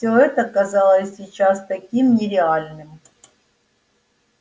всё это казалось сейчас таким нереальным